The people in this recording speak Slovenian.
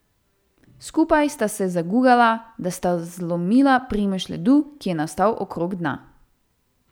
Skupaj sta ga zagugala, da sta zlomila primež ledu, ki je nastal okrog dna.